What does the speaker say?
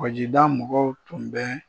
Kɔgɔjida mɔgɔw tun bɛ